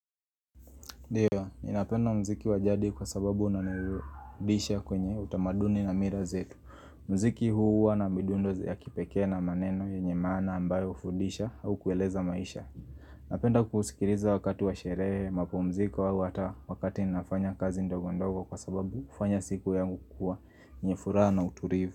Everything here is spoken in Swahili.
Ndiyo, ni napenda mziki wajadi kwa sababu unanirudisha kwenye utamaduni na mira zetu. Mziki huu wana midundo ya kipekee na maneno yenye maana ambayo hufundisha au kueleza maisha. Napenda kuusikiriza wakati wa sherehe, mapumziko au hata wakati ninafanya kazi ndogondogo kwa sababu ufanya siku yangu kukua yenye furaha na uturivu.